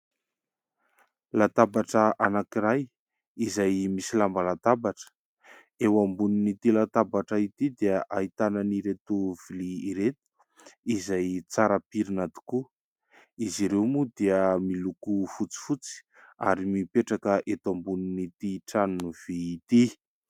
Latabatra anankiray izay misy lamba latabatra. Eo ambonin'ity latabatra ity dia ahitana ireto vilia ireto, izay tsara pirina tokoa. Izy ireo moa dia miloko fotsifotsy ary mipetraka eto ambonin'ity tranony vy ity.